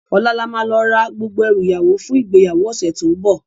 Òlá làmá lò rá gbógbó èrú iyáwó fún igbéyáwó òsè tó n bò